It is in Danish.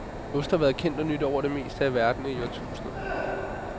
Ost har været kendt og nydt over det meste af verden i årtusinder.